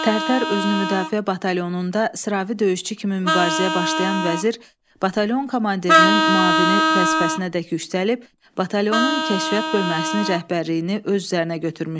Tərtər özünümüdafiə batalyonunda sıravi döyüşçü kimi mübarizəyə başlayan Vəzir batalyon komandirinin müavini vəzifəsinədək yüksəlib, batalyonun kəşfiyyat bölməsinin rəhbərliyini öz üzərinə götürmüşdü.